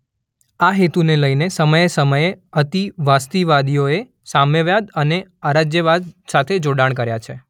આ હેતુને લઈને સમયે સમયે અતિવાસ્તવવાદીઓએ સામ્યવાદ અને અરાજ્યવાદ સાથે જોડાણ કર્યા છે.